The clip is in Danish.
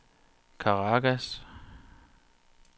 Caracas